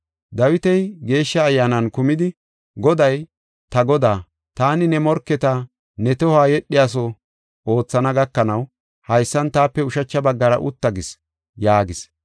Dawiti Geeshsha Ayyaanan kumidi, “ ‘Goday, ta Godaa, “Taani ne morketa ne tohoy yedhiyaso oothana gakanaw, haysan taape ushacha baggara utta” gis’ yaagis.